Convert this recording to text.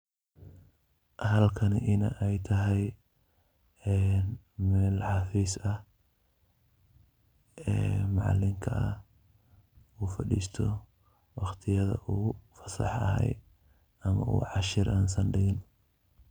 Halkani inii ay tahay mel xafiis ah ee macalinka u faristo waqtiyadha u fasaxa yahay ama u cashar usan digin.